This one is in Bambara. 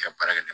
ka baara kɛ